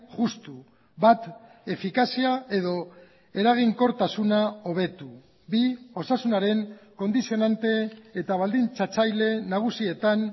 justu bat efikazia edo eraginkortasuna hobetu bi osasunaren kondizionante eta baldintzatzaile nagusietan